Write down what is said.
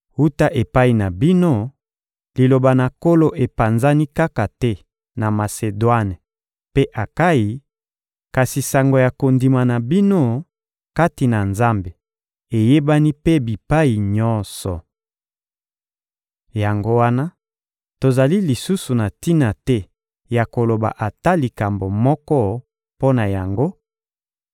Wuta epai na bino, Liloba na Nkolo epanzani kaka te na Masedwane mpe Akayi, kasi sango ya kondima na bino kati na Nzambe eyebani mpe bipai nyonso. Yango wana tozali lisusu na tina te ya koloba ata likambo moko mpo na yango,